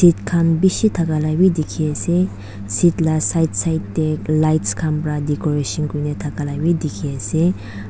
youth khan bishi thakala bi dikhi ase seat la side side teh lights khan pra wii decoration kure thakala bi dikhi ase.